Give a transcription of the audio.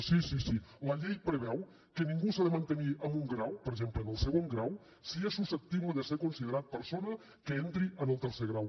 sí sí sí la llei preveu que ningú s’ha de mantenir en un grau per exemple en el segon grau si és susceptible de ser considerat persona que entri en el tercer grau